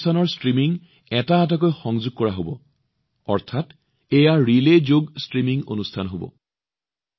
এই কাৰ্যসূচীবোৰৰ ষ্ট্ৰীমিং এটা এটাকৈ যোগ কৰা হব অৰ্থাৎ ই এক প্ৰকাৰৰ ৰিলে যোগ ষ্ট্ৰীমিং অনুষ্ঠান হব